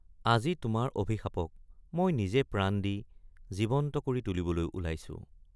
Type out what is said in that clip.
আজি তোমাৰ অভিশাপক মই নিজে প্ৰাণ দি জীৱন্ত কৰি তুলিবলৈ ওলাইছো।